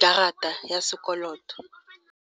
karata ya sekoloto.